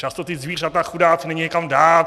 Často ta zvířata, chudáky, není kam dát.